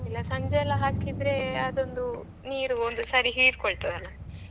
ಇಲ್ಲ ಸಂಜೆಯೆಲ್ಲ ಹಾಕಿದ್ರೆ ಅದು ಒಂದು ನೀರು ಒಂದು ಸರಿ ಹೀರಿಕೊಳ್ತದೆ ಅಲ್ಲಾ.